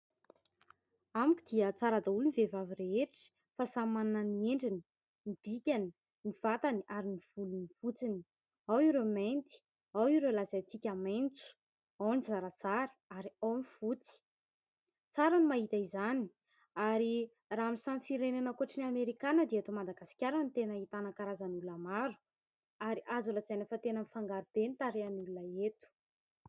Amiko dia tsara daholo ny vehivavy rehetra fa samy manana ny endriny, ny bikany, ny vatany ary ny volony fotsiny. Ao ireo mainty, ao ireo lazaintsika maitso, ao ny zarazara ary ao ny fotsy. Tsara ny mahita izany ary raha amin'ny samy firenena ankoatry ny Amerikanina dia eto Madagasikara no tena ahitana karazan'olona maro ary azo lazaina fa tena mifangaro be ny tarehin'ny olona eto.